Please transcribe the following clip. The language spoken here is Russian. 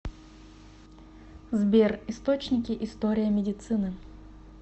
сбер источники история медицины